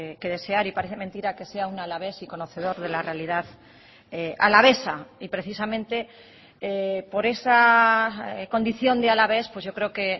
que desear y parece mentira que sea un alavés y conocedor de la realidad alavesa y precisamente por esa condición de alavés pues yo creo que